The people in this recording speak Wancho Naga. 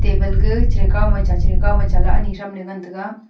blega cheri kawma cha cheri kawma chaly ani thramley ngan taiga